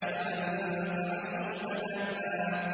فَأَنتَ عَنْهُ تَلَهَّىٰ